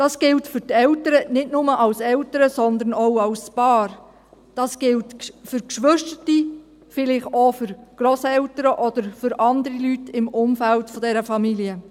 Dies gilt für die Eltern – nicht nur als Eltern, sondern auch als Paar –, dies gilt für die Geschwister, vielleicht auch für Grosseltern oder für andere Personen im Umfeld dieser Familie.